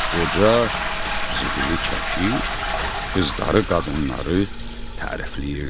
Qoca zibili çəkir, qızları, qadınları tərifləyirdi: